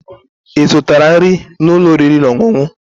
Ị zụtala nri n'ụlọ oriri na ọṅụṅụ?